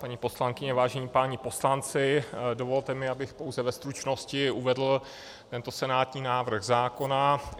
paní poslankyně, vážení páni poslanci, dovolte mi, abych pouze ve stručnosti uvedl tento senátní návrh zákona.